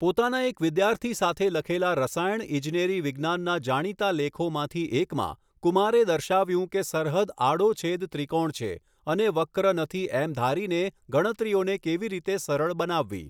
પોતાના એક વિદ્યાર્થી સાથે લખેલા રસાયણ ઇજનેરી વિજ્ઞાનના જાણીતા લેખોમાંથી એકમાં, કુમારે દર્શાવ્યું કે સરહદ આડો છેદ ત્રિકોણ છે અને વક્ર નથી એમ ધારીને ગણતરીઓને કેવી રીતે સરળ બનાવવી.